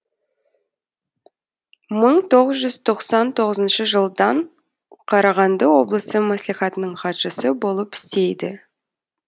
мың тоғыз жүз тоқсан тоғызыншы жылдан қарағанды облысы мәслихатының хатшысы болып істейді